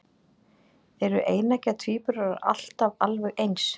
Eru eineggja tvíburar alltaf alveg eins?